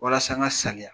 Walasa n ka sanuya